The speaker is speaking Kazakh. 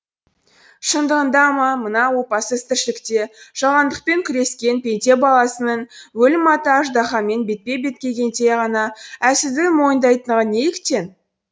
шындығында ма мына опасыз тіршілікте жалғандықпен күрескен пенде баласының өлім атты аждаһамен бетпе бет келгенде ғана әлсіздігін мойындайтындығы неліктен